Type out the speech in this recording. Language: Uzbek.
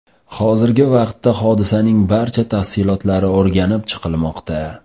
Hozirgi vaqtda hodisaning barcha tafsilotlari o‘rganib chiqilmoqda.